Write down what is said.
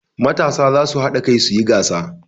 Matasa za su haɗa kai su yi gasa.